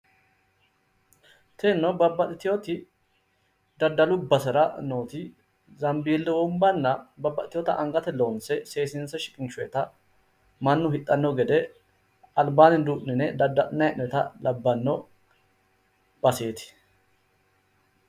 Tinino babbaxxitino daddalu basera nooti zambilletenna babaxitewoota agante loonse seesiinse shiqinshoonnita mannu hidhanno gede albaanni duu'nine dadda'linayi hee'noonni labbanno baseeti